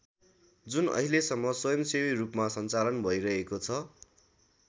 जुन अहिलेसम्म स्वयम्‌सेवी रूपमा सञ्चालन भैरहेको छ।